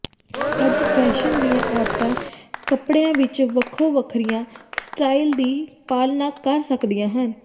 ਅੱਜ ਫੈਸ਼ਨ ਦੀਆਂ ਔਰਤਾਂ ਕੱਪੜਿਆਂ ਵਿਚ ਵੱਖੋ ਵੱਖਰੀਆਂ ਸਟਾਈਲ ਦੀ ਪਾਲਣਾ ਕਰ ਸਕਦੀਆਂ ਹਨ